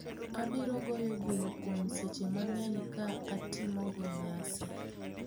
Abiro goyo bul kuom sache mang'eny ka atimogo nyasi."